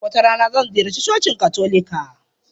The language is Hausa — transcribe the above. Wata rana, zan ziyarci cocin Katolika.